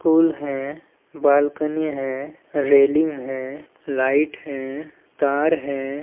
School है balcony है railing है लाइट है तार है।